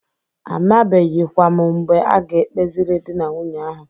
Amabeghikwa m mgbe a ga-ekpeziri dị na nwunye ahụ.